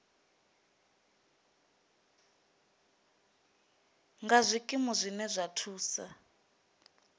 nga zwikimu zwine zwa thusa